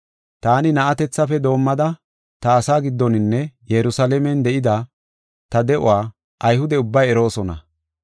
“Taani na7atethafe doomada ta asaa giddoninne Yerusalaamen de7ida ta de7uwa Ayhude ubbay eroosona.